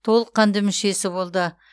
толыққанды мүшесі болды